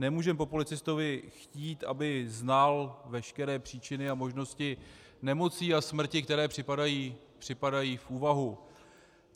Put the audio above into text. Nemůžeme po policistovi chtít, aby znal veškeré příčiny a možnosti nemocí a smrti, které připadají v úvahu.